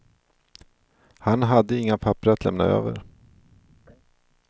Han hade inga papper att lämna över.